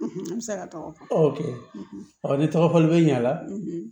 Ne bɛ se ka tɔgɔ fɔ ni tɔgɔfɔli bɛ ɲa la